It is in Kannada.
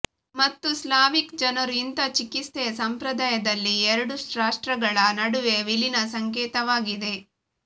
ಮತ್ತು ಸ್ಲಾವಿಕ್ ಜನರು ಇಂಥ ಚಿಕಿತ್ಸೆಯ ಸಂಪ್ರದಾಯದಲ್ಲಿ ಎರಡು ರಾಷ್ಟ್ರಗಳ ನಡುವೆ ವಿಲೀನ ಸಂಕೇತವಾಗಿದೆ